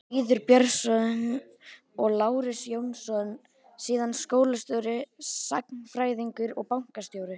Lýður Björnsson og Lárus Jónsson- síðar skólastjóri, sagnfræðingur og bankastjóri.